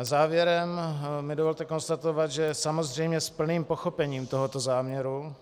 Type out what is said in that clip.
Závěrem mi dovolte konstatovat, že samozřejmě s plným pochopením tohoto záměru